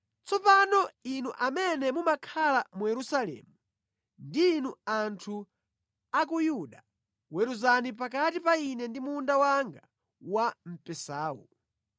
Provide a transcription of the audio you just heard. “Tsopano, inu amene mumakhala mu Yerusalemu ndi inu anthu a ku Yuda, weruzani pakati pa ine ndi munda wanga wa mpesawu.